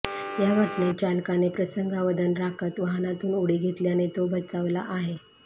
या घटनेत चालकाने प्रसंगावधान राखत वाहनातून उडी घेतल्याने तो बचावला आहे